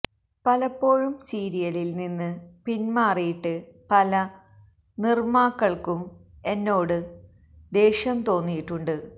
പലപ്പോഴും സീരിയലില് നിന്ന് പിന്മാറിയിട്ട് പല നിര്മാക്കള്ക്കും എന്നോട് ദേഷ്യം തോന്നിയിട്ടുണ്ട്